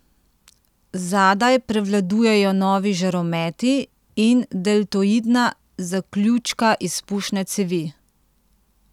Zadaj prevladujejo novi žarometi in deltoidna zaključka izpušne cevi.